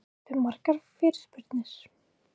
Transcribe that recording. Fékkstu margar fyrirspurnir?